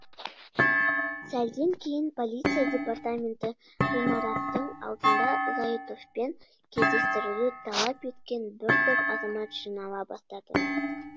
сәлден кейін полиция департаменті ғимараттың алдына зайытовпен кездестіруді талап еткен бір топ азамат жинала бастады